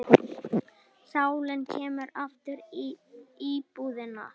Sálin kemur aftur í íbúðina.